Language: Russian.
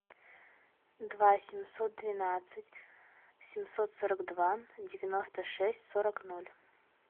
два семьсот двенадцать семьсот сорок два девяносто шесть сорок ноль